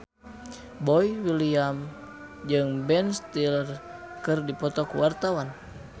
Boy William jeung Ben Stiller keur dipoto ku wartawan